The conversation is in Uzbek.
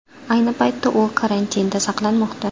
Ayni paytda u karantinda saqlanmoqda.